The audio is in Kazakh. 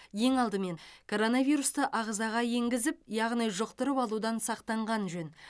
ең алдымен коронавирусты ағзаға енгізіп яғни жұқтырып алудан сақтанған жөн